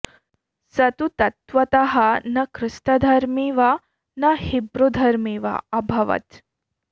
स तु तत्त्वतः न ख्रिस्तधर्मी वा न हिब्रुधर्मी वा अभवत्